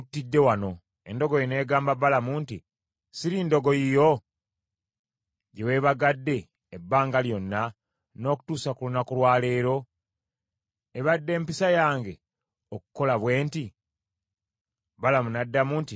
Endogoyi n’egamba Balamu nti, “Siri ndogoyi yo gye weebagadde ebbanga lyonna n’okutuusa ku lunaku lwa leero? Ebadde mpisa yange okukukola bwe nti?” Balamu n’addamu nti, “Nedda.”